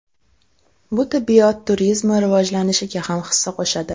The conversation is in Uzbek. Bu tibbiyot turizmi rivojlanishiga ham hissa qo‘shadi.